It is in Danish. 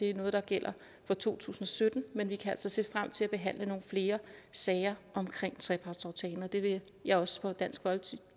er noget der gælder fra to tusind og sytten men vi kan altså se frem til at behandle nogle flere sager omkring trepartsaftalen og det vil jeg også på dansk